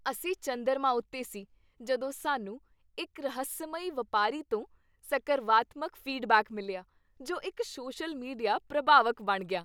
ਅਸੀਂ ਚੰਦਰਮਾ ਉੱਤੇ ਸੀ ਜਦੋਂ ਸਾਨੂੰ ਇੱਕ ਰਹੱਸਮਈ ਵਪਾਰੀ ਤੋਂ ਸਕਰਵਾਤਮਕ ਫੀਡਬੈਕ ਮਿਲਿਆ ਜੋ ਇੱਕ ਸੋਸ਼ਲ ਮੀਡੀਆ ਪ੍ਰਭਾਵਕ ਬਣ ਗਿਆ।